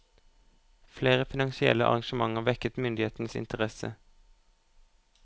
Flere finansielle arrangementer vekket myndighetenes interesse.